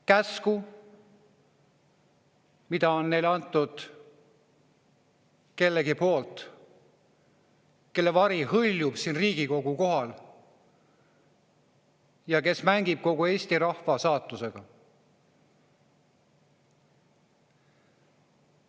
Käsku, mis on neile antud kellegi poolt, kelle vari hõljub siin Riigikogu kohal ja kes mängib kogu Eesti rahva saatusega.